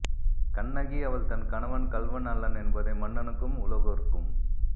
கண்ணகி அவள் தன் கணவன் கள்வன் அல்லன் என்பதை மன்னனுக்கும் உலகோர்க்கும்